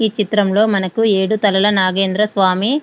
ఈ చిత్రం లో మనకు ఏడు తలల నాగేంద్ర స్వామి --